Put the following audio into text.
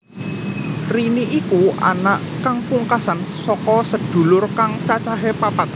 Rini iku anak kang pungkasan saka sedulur kang cacahé papat